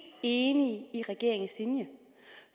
enige i regeringens linje